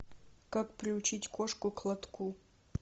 как приучить кошку к лотку